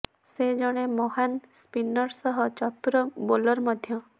ସେ ଜଣେ ମହାନ ସ୍ପିନର ସହ ଚତୁର ବୋଲର ମଧ୍ୟ